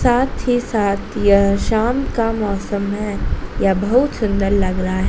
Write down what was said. साथी साथ यह शाम का मौसम है यह बहुत सुंदर लग रहा--